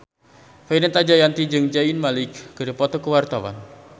Fenita Jayanti jeung Zayn Malik keur dipoto ku wartawan